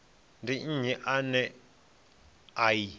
ndi nnyi ane a i